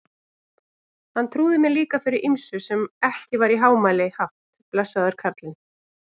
Hann trúði mér líka fyrir ýmsu sem ekki var í hámæli haft, blessaður kallinn.